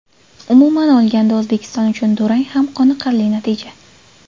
Umuman olganda O‘zbekiston uchun durang ham qoniqarli natija”.